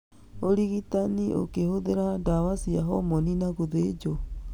Ũrigitani ũkĩhũthĩra dawa cia homoni na gũthĩnjwo.